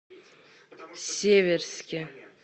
северске